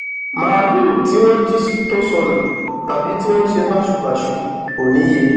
máàlùú tí wọn jí tó sọnù tàbí tí wọn ṣe báṣubàṣu kò níye